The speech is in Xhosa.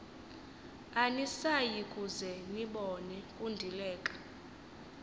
anisayikuze nibone kundileka